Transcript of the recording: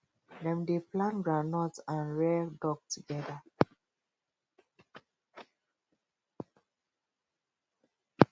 dem dey plant groundnut and rear duck together